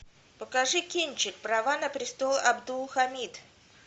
покажи кинчик права на престол абдулхамид